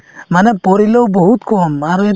মানে পৰিলেও বহুত কম আৰু